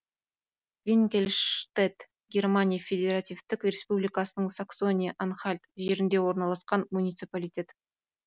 винкельштедт германия федеративтік республикасының саксония анхальт жерінде орналасқан муниципалитет